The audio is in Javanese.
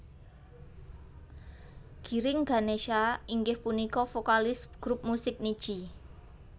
Giring Ganesha inggih punika vokalis grup musik Nidji